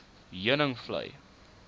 heuningvlei